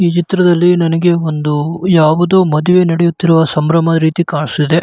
ಈ ಚಿತ್ರದಲ್ಲಿ ನನಗೆ ಒಂದು ಯಾವುದೊ ಮದುವೆ ನಡೆಯುತ್ತಿರುವ ಸಂಭ್ರಮ ರೀತಿ ಕಾಣಿಸತ್ತಿದೆ.